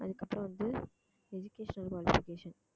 அதுக்கப்புறம் வந்து educational qualification